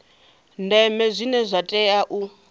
ndeme zwine zwa tea u